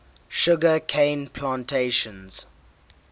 sugar cane plantations